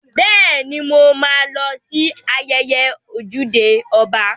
Bẹ́ẹ̀ni, mo ma lọ sí ayẹyẹ ojúde ọba